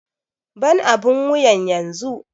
Ban abun wuyan yanzu!